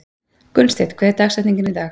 Gunnsteinn, hver er dagsetningin í dag?